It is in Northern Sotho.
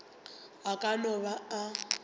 a ka no ba a